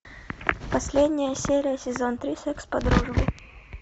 последняя серия сезон три секс по дружбе